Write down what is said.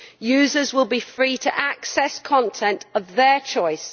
Users will be free to access content of their choice.